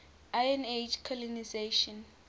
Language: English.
iron age colonisation